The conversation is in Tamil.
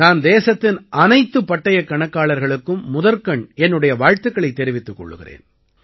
நான் தேசத்தின் அனைத்துப் பட்டயக் கணக்காளர்களுக்கும் முதற்கண் என்னுடைய வாழ்த்துக்களைத் தெரிவித்துக் கொள்கிறேன்